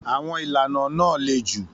Àwọn ìlànà náà le jù.